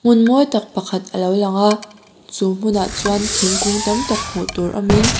hmun mawi tak pakhat alo lang a chu hmunah chuan thingkung tam tak hmuh tur awmin--